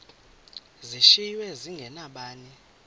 zishiywe zinge nabani